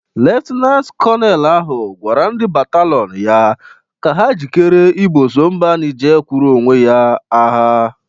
Leftinant kọnel ahụ gwara ndị batalọn ya ka ha jikere iboso mba Nije kwụrụ owe ya agha.